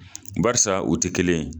Baarisa u tɛ kelen ye.